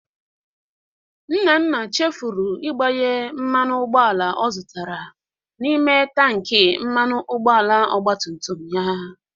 Nnanna chefuru igbanye mmanụ ụgbọala ọ zụtara n'ime tanki mmanụ ụgbọala ọgbatumtum ya.